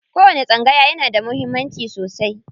Kowani tsangaya yana da muhimmanci sosai.